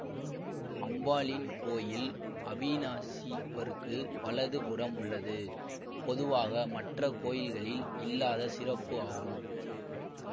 அம்பாளின் கோயில் அவினாசிப்பருக்கு வலது புறம் உள்ளது பொதுவாக மற்ற கோயில்களில் இல்லாத சிறப்பு ஆகும்